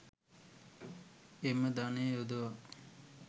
එම ධනය යොදවා